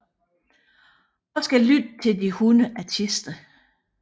Og skal lytte til de 100 artister